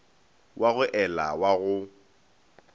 wa go ela wa go